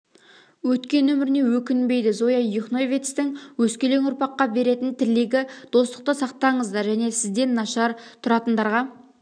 өткен өміріне өкінбейді зоя юхновецтің өскелен ұрпаққа беретін тілегі достықты сақтаңыздар және сізден нашар тұратындарға